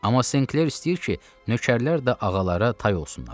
Amma Senkler istəyir ki, nökərlər də ağalara tay olsunlar.